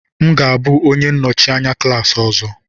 M ga-abụ onye nnọchi anya klas ọzọ.